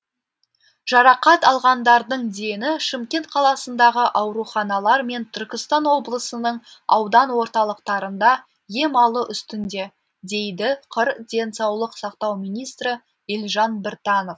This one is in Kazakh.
жарақат алғандардың дені шымкент қаласындағы ауруханалар мен түркістан облысының аудан орталықтарында ем алу үстінде дейді қр денсаулық сақтау министрі елжан біртанов